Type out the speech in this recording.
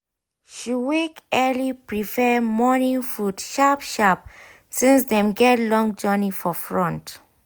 she wake early prepare morning food sharp sharp since dem get long journey for front.